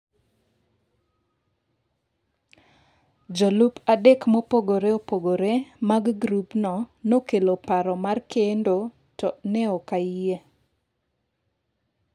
Jolup adek mopogore opogore mag grupno nokelo paro mar kendo to ne ok ayie.